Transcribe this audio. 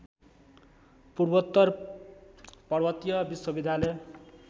पूर्वोत्तर पर्वतीय विश्वविद्यालय